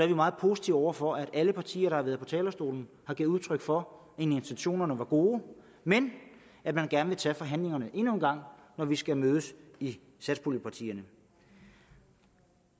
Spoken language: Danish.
vi meget positive over for at alle partier der har været på talerstolen har givet udtryk for at intentionerne var gode men at man gerne vil tage forhandlingerne endnu en gang når vi skal mødes i satspuljepartierne